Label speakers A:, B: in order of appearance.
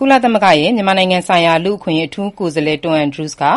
A: ကုလသမဂ္ဂရဲ့ မြန်မာနိုင်ငံဆိုင်ရာ လူ့အခွင့်အရေး အထူးကိုယ်စားလှယ် Tom Andrews ဟာ